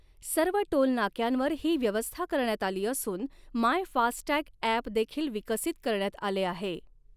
सर्व टोलनाक्यांवर ही व्यवस्था करण्यात आली असून माय फास्टटॅगऐप देखील विकसित करण्यात आले आहे.